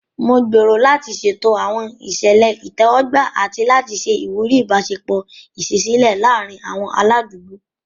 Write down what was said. Mo gbèrò láti ṣètò àwọn ìṣẹ̀lẹ̀ ìtẹ́wọ́gbà àti láti ṣe ìwúrí ìbáṣepọ̀ ìṣísílẹ̀ láàárín àwọn aládùúgbò.